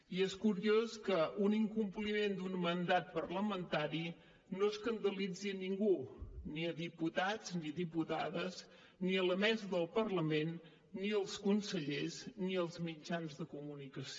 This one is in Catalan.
i és curiós que un incompliment d’un mandat parlamentari no escandalitzi ningú ni diputats ni diputades ni la mesa del parlament ni els consellers ni els mitjans de comunicació